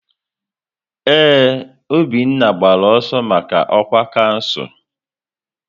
Ee, Obinna gbara ọsọ maka ọkwa kansụl.